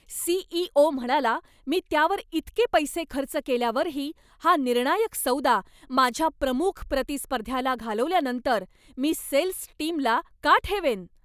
CEO. म्हणाला, मी त्यावर इतके पैसे खर्च केल्यावरही हा निर्णायक सौदा माझ्या प्रमुख प्रतिस्पर्ध्याला घालवल्यानंतर मी सेल्स टीमला का ठेवेन?